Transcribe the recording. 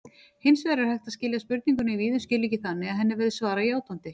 Hins vegar er hægt að skilja spurninguna víðum skilningi þannig að henni verði svarað játandi.